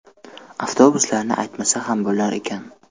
Avtobuslarni aytmasa ham bo‘lar ekan.